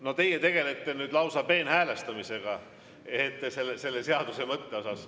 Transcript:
No teie tegelete nüüd lausa peenhäälestamisega selle seaduse mõtte osas.